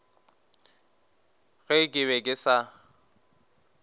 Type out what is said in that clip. ge ke be ke sa